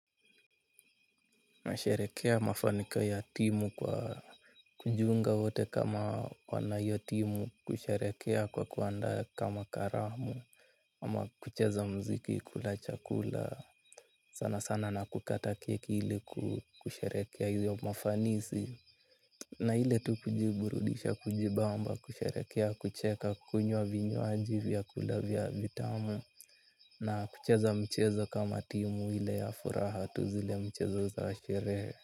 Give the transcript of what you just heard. Nasherehekea mafanikio ya timu kwa kujiunga wote kama wana hiyo timu kusherekea kwa kuandaa kama karamu ama kucheza muziki kula chakula sana sana na kukata keki ili kusherekea hiyo mafanisi. Na ile tu kujiburudisha kujibamba kusherekea kucheka kukunywa vinywaji vyakula vya vitamu. Na kucheza mchezo kama timu ile ya furaha tu zile michezo za sherehe.